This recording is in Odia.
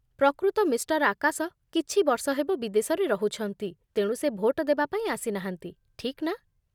ପ୍ରକୃତ ମିଷ୍ଟର୍ ଆକାଶ କିଛି ବର୍ଷ ହେବ ବିଦେଶରେ ରହୁଛନ୍ତି, ତେଣୁ ସେ ଭୋଟ ଦେବା ପାଇଁ ଆସିନାହାନ୍ତି, ଠିକ୍ ନା?